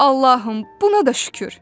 Allahım, buna da şükür.